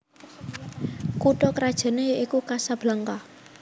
Kutha krajané yaiku Casablanca